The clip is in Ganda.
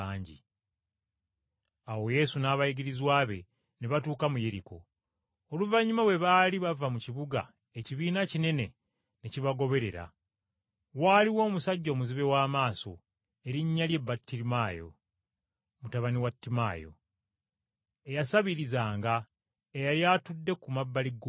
Awo Yesu n’abayigirizwa be ne batuuka mu Yeriko. Oluvannyuma bwe baali bava mu kibuga ekibiina kinene ne kibagoberera. Waaliwo omusajja omuzibe w’amaaso, erinnya lye Battimaayo (mutabani wa Timaayo) eyasabirizanga, eyali atudde ku mabbali g’oluguudo.